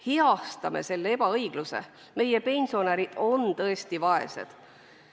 Heastame selle ebaõigluse, meie pensionärid on tõesti vaesed.